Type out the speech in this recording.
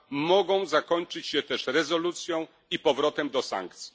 mogą zakończyć się też rezolucją i powrotem do sankcji.